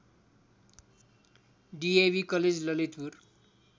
DAV college Lalitpur